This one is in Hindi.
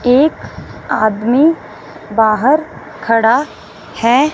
एक आदमी बाहर खड़ा है।